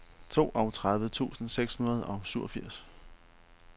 toogtredive tusind seks hundrede og syvogfirs